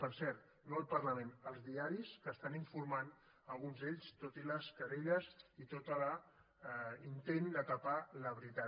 per cert no al parlament als diaris que estan informant alguns d’ells tot i les querelles i tot i l’intent de tapar la veritat